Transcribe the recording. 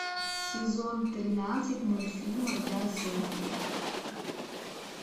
сезон тринадцать мультфильма я зомби